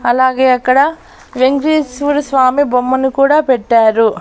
అలాగే అక్కడ వెంకటేశ్వర స్వామి బొమ్మని కూడా పెట్టారు.